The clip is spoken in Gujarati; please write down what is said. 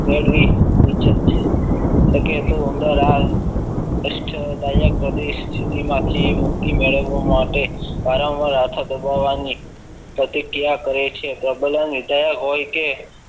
છે ક એ તો ઉંદર આવ કષ્ટદાયક પરિસ્થિતિ માંથી મુક્તિ મેળવવા માટે વારંવાર હાથો દબાવવાની પ્રતિક્રિયા કરે છે પ્રબલન વિધાયક હોય કે